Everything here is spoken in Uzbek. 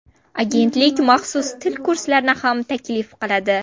Agentlik maxsus til kurslarini ham taklif qiladi.